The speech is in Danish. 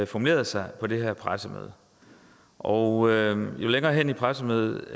formulerede sig på det her pressemøde og jo længere hen i pressemødet